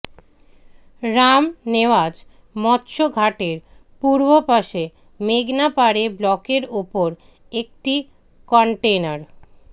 রামনেওয়াজ মৎস্য ঘাটের পূর্বপাশে মেঘনা পাড়ে ব্লকের ওপর একটি কনটেইনার